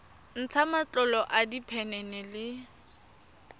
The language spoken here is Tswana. ntsha matlolo a diphenene le